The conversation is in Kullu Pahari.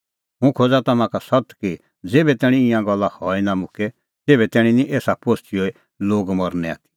हुंह खोज़ा तम्हां का सत्त कि ज़ेभै तैणीं ईंयां गल्ला हई निं मुक्के तेभै तैणीं निं एसा पोस्तीए लोग मरनै आथी